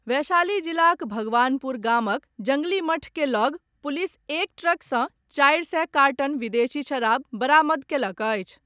वैशाली जिलाक भगवानपुर गामक जंगली मठ के लग पुलिस एक ट्रक सॅ चारि सय कार्टन विदेशी शराब बरामद कयलक अछि।